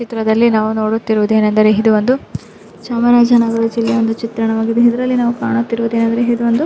ಈ ಚಿತ್ರದಲ್ಲಿ ನಾವು ನೋಡುತ್ತಿರುವುದು ಏನು ಏನಾದರೆ ಇದು ಒಂದು ಚಾಮರಾಜನ್ ನಗರ್ ಜಿಲ್ಲೆ ಒಂದು ಚಿತಾಣವಾಗಿದೆ ಇದರಲ್ಲಿ ನಾವು ಕಾಣುತ್ತಿರುವುದು ಏನಂದರೆ ಇದರಲ್ಲಿ ಇದು ಒಂದು.